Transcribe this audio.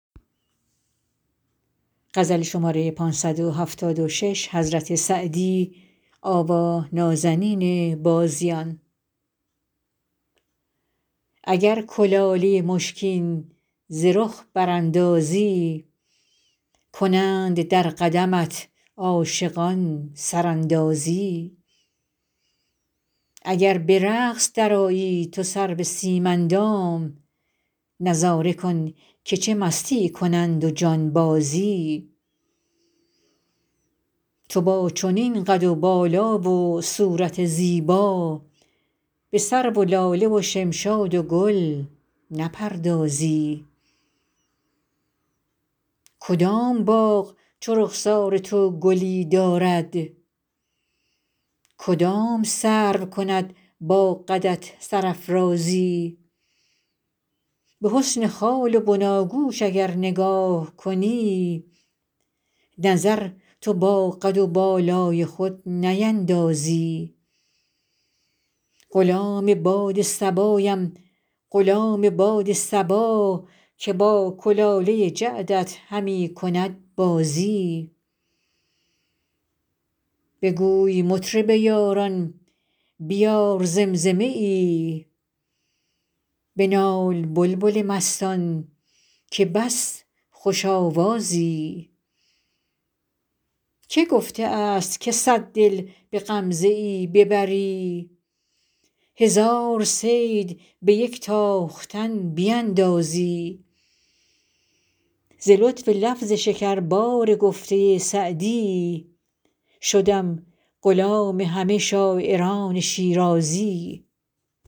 اگر کلاله مشکین ز رخ براندازی کنند در قدمت عاشقان سراندازی اگر به رقص درآیی تو سرو سیم اندام نظاره کن که چه مستی کنند و جانبازی تو با چنین قد و بالا و صورت زیبا به سرو و لاله و شمشاد و گل نپردازی کدام باغ چو رخسار تو گلی دارد کدام سرو کند با قدت سرافرازی به حسن خال و بناگوش اگر نگاه کنی نظر تو با قد و بالای خود نیندازی غلام باد صبایم غلام باد صبا که با کلاله جعدت همی کند بازی بگوی مطرب یاران بیار زمزمه ای بنال بلبل مستان که بس خوش آوازی که گفته است که صد دل به غمزه ای ببری هزار صید به یک تاختن بیندازی ز لطف لفظ شکربار گفته سعدی شدم غلام همه شاعران شیرازی